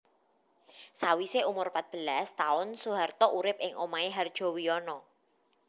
Sawisé umur pat belas taun Soeharto urip ing omahé Hardjowijono